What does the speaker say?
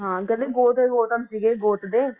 ਹਾਂ ਕਹਿੰਦੇ ਗੋਤ ਦੇ ਗੋਤਮ ਸੀਗੇ ਗੋਤ ਦੇ।